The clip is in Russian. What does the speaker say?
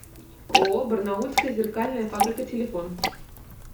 ооо барнаульская зеркальная фабрика телефон